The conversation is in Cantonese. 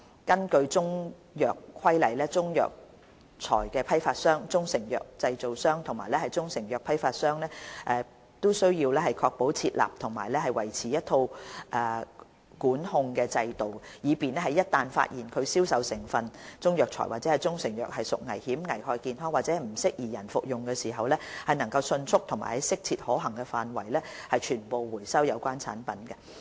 根據《中藥規例》，中藥材批發商、中成藥製造商和中成藥批發商均須確保設立和維持一套管控制度，以便在一旦發現其銷售的中藥材或中成藥屬危險、危害健康或不適宜人類服用時，能迅速及在切實可行範圍內收回所有有關產品。